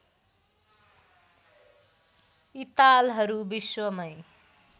यी तालहरू विश्वमै